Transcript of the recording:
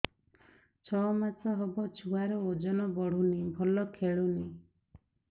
ଛଅ ମାସ ହବ ଛୁଆର ଓଜନ ବଢୁନି ଭଲ ଖେଳୁନି